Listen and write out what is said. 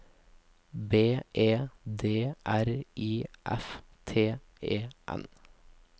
B E D R I F T E N